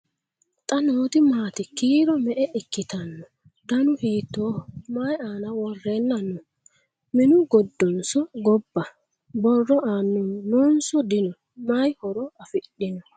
Xa nootti maati? Kiiro me'e ikkittanno? Dannu hiittoho? Mayi aanna worrenna noo? Minnu giddonso gobba? Borro aannaho noonso dinno? mayi horo afidhiinno?